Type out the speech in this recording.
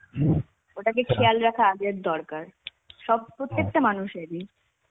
ওটাকে খেয়াল রাখা আগের দরকার. সব~ প্রত্যেকটা মানুষেরই